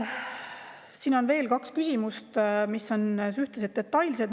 Siin on veel kaks küsimust, mis on suhteliselt detailsed.